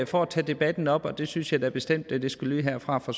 for at tage debatten op det synes jeg da bestemt skal lyde herfra fra